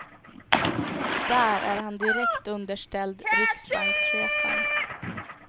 Där är han direkt underställd riksbankschefen.